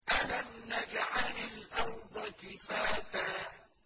أَلَمْ نَجْعَلِ الْأَرْضَ كِفَاتًا